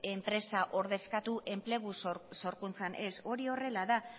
enpresa ordezkatu enplegu sorkuntzan ez hori horrela da